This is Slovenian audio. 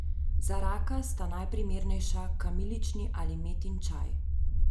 Za raka sta najprimernejša kamilični ali metin čaj.